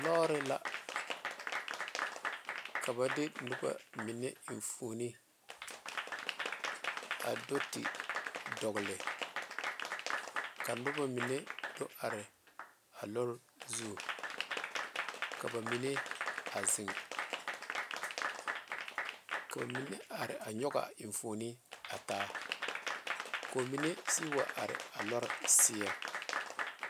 Lɔre la ka ba de noba mine enfuune a do te dogle ka noba mine do are a lɔre zu ka ba mine a zeŋ ka ba mine are a nyoŋ a enfuune a taa ko'o mine sige wa are a lɔre seɛ.